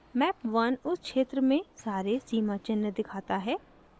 map 1 उस क्षेत्र में सारे सीमाचिह्न दिखाता है